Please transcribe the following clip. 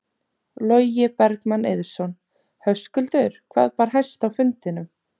Logi Bergmann Eiðsson: Höskuldur hvað bar hæst á fundinum?